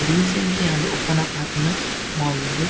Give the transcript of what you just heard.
recently ಆದ್ open up ಆತಿನ mall ಇಂದು--